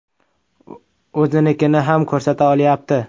O‘zinikini ham ko‘rsata olyapti.